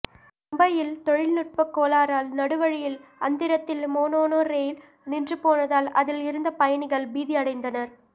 மும்பையில் தொழில்நுட்ப கோளாறால் நடுவழியில் அந்தரத்தில் மோனோ ரெயில் நின்றுபோனதால் அதில் இருந்த பயணிகள் பீதி அடைந்தனர்